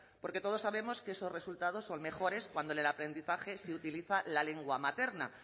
porque todos sabemos que esos resultados son mejores cuando en el aprendizaje se utiliza la lengua materna